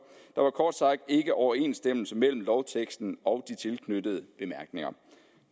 ikke overensstemmelse mellem lovteksten og de tilknyttede bemærkninger